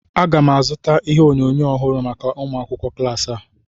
Aga m azụta ihe onyonyo ọhụrụ maka ụmụ akwụkwọ klas a